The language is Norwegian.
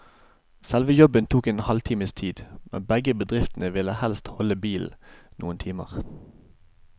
Selve jobben tok en halvtimes tid, men begge bedriftene ville helst beholde bilen noen timer.